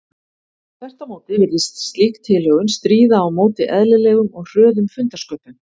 Þvert á móti virðist slík tilhögun stríða á móti eðlilegum og hröðum fundarsköpum.